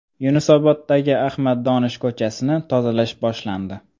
Yunusoboddagi Ahmad Donish ko‘chasini tozalash boshlandi.